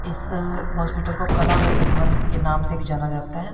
इस हॉस्पिटल को कलावती भवन के नाम से भी जाना जाता है।